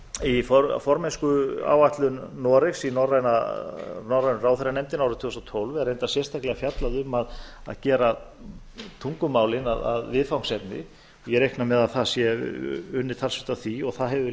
í formennskuáætlun noregs í norrænu ráðherranefndinni árið tvö þúsund og tólf er reyndar sérstaklega fjallað um að gera tungumálin að viðfangsefni og ég reikna með að það verði unnið talsvert að því og það hefur